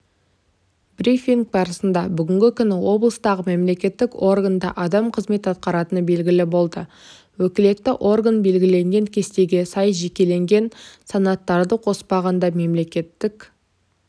брифинг барысында бүгінгі күні облыстағы мемлекеттік органда адам қызмет атқаратыны белгілі болды өкілетті орган белгілеген кестеге сай жекелеген санаттарды қоспағанда мемлекеттік